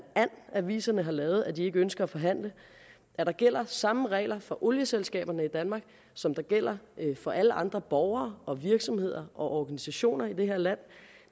and aviserne har lavet at de ikke ønsker at forhandle at der gælder samme regler for olieselskaberne i danmark som der gælder for alle andre borgere og virksomheder og organisationer i det her land